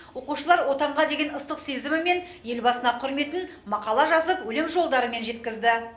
оқушылар отанға деген ыстық сезімі мен елбасына құрметін мақала жазып өлең жолдарымен жеткізді